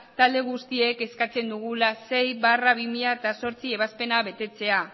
talde guztiek eskatzen dugula sei barra bi mila zortzi ebazpena betetzea